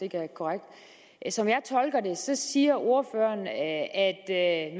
er korrekt så siger ordføreren at